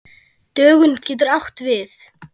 Dögun getur átt við